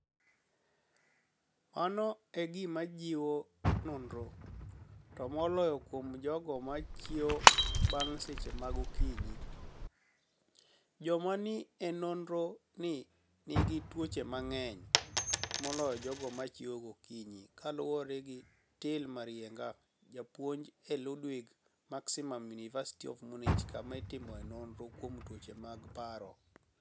Mano e gima jiwo nonirono, to moloyo kuom jogo ma chiewoga banig ' seche mag okiniyi - joma ni enore nii niigi tuoche manig'eniy moloyo jogo ma chiewoga gokiniyi, kaluwore gi Till Marieniga, japuonij e Ludwig-Maximiliani Uniiversity of Muniich, kama itimoe noniro kuom tuoche mag paro.